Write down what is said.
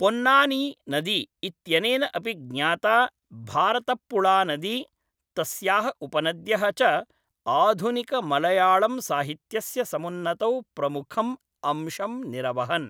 पोन्नानिनदी इत्यनेन अपि ज्ञाता भारतप्पुळानदी, तस्याः उपनद्यः च आधुनिकमळयाळंसाहित्यस्य समुन्नतौ प्रमुखम् अंशं निरवहन्।